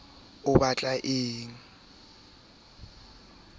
a mo sotla ka ho